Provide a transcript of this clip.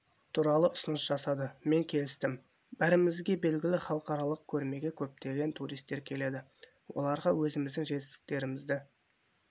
туралы ұсыныс жасады мен келістім бәрімізге белгілі халықаралық көрмеге көптеген туристер келеді оларға өзіміздің жетістіктерімізді